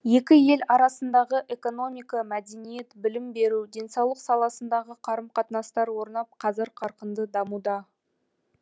екі ел арасындағы экономика мәдениет білім беру денсаулық саласындағы қарым қатынастар орнап қазір қарқынды дамуда